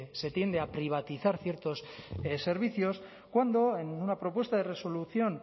se tiende a privatizar ciertos servicios cuando en una propuesta de resolución